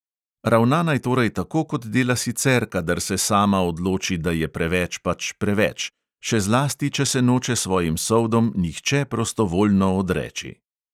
Ravna naj torej tako, kot dela sicer, kadar se sama odloči, da je preveč pač preveč, še zlasti, če se noče svojim soldom nihče prostovoljno odreči.